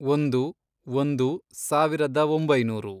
ಒಂದು, ಒಂದು, ಸಾವಿರದ ಒಂಬೈನೂರು